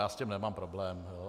Já s tím nemám problém.